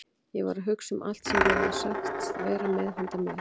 Ég var að hugsa um allt sem þeir höfðu sagst vera með handa mér.